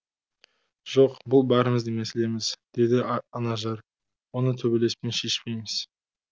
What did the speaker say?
жоқ бұл бәріміздің мәселеміз деді анажар оны төбелеспен шешпейміз